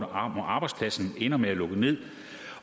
om arbejdspladsen ender med at lukke ned